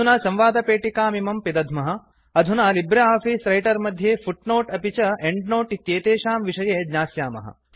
अधुना संवादपेटिकामिमं पिदध्मः अधुना लिब्रे आफीस् रैटर् मध्ये फुट् नोट् अपि च एंड् नोट् इत्येतेषां विषये ज्ञास्यामः